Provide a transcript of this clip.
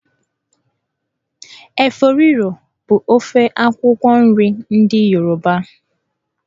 Efo riro bụ ofe akwụkwọ nri ndị Yoruba.